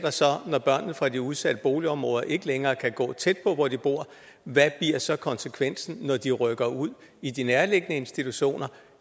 når børnene fra de udsatte boligområder ikke længere kan gå tæt på hvor de bor hvad bliver så konsekvensen når de rykker ud i de nærliggende institutioner